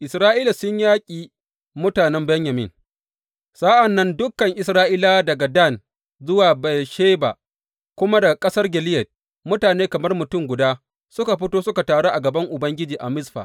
Isra’ila sun yaƙi mutanen Benyamin Sa’an nan dukan Isra’ilawa daga Dan zuwa Beyersheba kuma daga ƙasar Gileyad mutane kamar mutum guda suka fito suka taru a gaban Ubangiji a Mizfa.